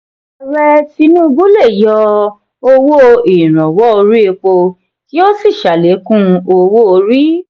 ààrẹ tinubu le yọ owó iranwọ orí èpo kí o sí salekun owó-orí.